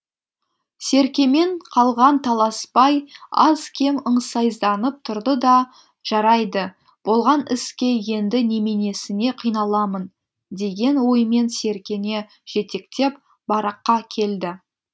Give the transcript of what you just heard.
серкемен қалған таласбай аз кем ыңсайсызданып тұрды да жарайды болған іске енді неменесіне қиналамын деген оймен серкені жетектеп бараққа келді